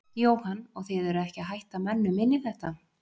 Jóhann: Og þið eruð ekki að hætta mönnum inn í þetta?